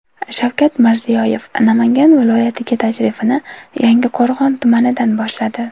Shavkat Mirziyoyev Namangan viloyatiga tashrifini Yangiqo‘rg‘on tumanidan boshladi.